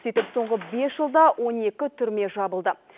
сөйтіп соңғы бес жылда он екі түрме жабылды